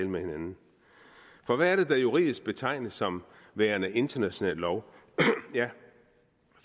med hinanden for hvad er det der juridisk betegnes som værende international lov